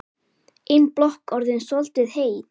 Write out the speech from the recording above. Ein blokk orðin soldið heit.